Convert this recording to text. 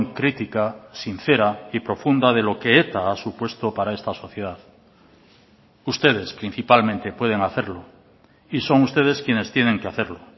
crítica sincera y profunda de lo que eta ha supuesto para esta sociedad ustedes principalmente pueden hacerlo y son ustedes quienes tienen que hacerlo